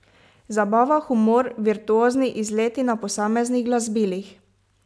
Zabava, humor, virtuozni izleti na posameznih glasbilih ...